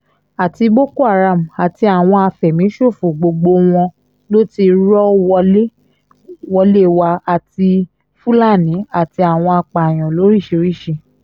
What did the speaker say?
àti boko haram àti àwọn àfẹ̀míṣòfò gbogbo wọn ló ti rọ́ wọlé wá àti fúlàní àti àwọn apààyàn lóríṣìíríṣìí